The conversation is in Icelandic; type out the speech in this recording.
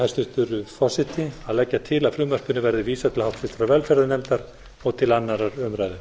hæstvirtur forseti að leggja til að frumvarpinu verði vísað til háttvirtrar velferðarnefndar og til annarrar umræðu